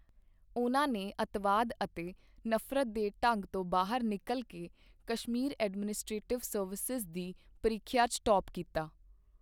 ਉਨ੍ਹਾਂ ਨੇ ਅੱਤਵਾਦ ਅਤੇ ਨਫਰਤ ਦੇ ਢੰਗ ਤੋਂ ਬਾਹਰ ਨਿਕਲ ਕੇ ਕਸ਼ਮੀਰ ਐਡਮਨਿਸਟ੍ਰੇਟਿਵ ਸਰਵਿਸ ਦੀ ਪ੍ਰੀਖਿਆ ਚ ਟਾਪ ਕੀਤਾ ਹੈ।